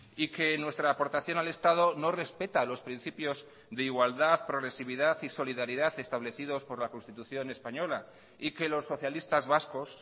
y que nuestra aportación al estado no respeta a los principios de igualdad progresividad y solidaridad establecidos por la constitución española y que los socialistas vascos